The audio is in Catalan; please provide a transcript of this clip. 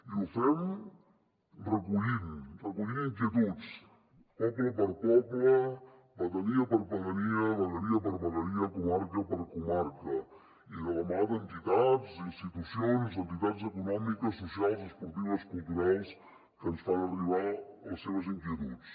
i ho fem recollint inquietuds poble per poble pedania per pedania vegueria per vegueria comarca per comarca i de la mà d’entitats institucions entitats econòmiques socials esportives culturals que ens fan arribar les seves inquietuds